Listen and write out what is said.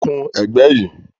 Kun ẹ̀gbẹ́ yìí